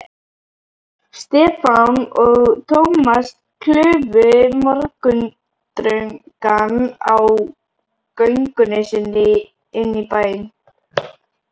Stefán og Thomas klufu morgundrungann á göngunni inn í bæinn.